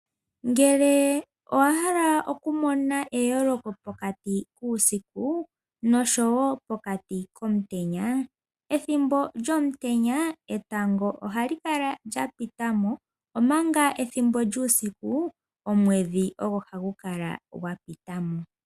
Ngele owahala okumona eyoloko pokati kuusiku nosho wopokati komutenya, ethimbo lyomutenya etango ohali kala ndja pita mo omanga ethimbo lyuusiku omwedhi ogo hagu kala gwapitamo.